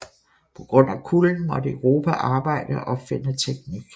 På grund af kulden måtte Europa arbejde og opfinde teknik